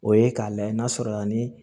O ye k'a layɛ n'a sɔrɔ yani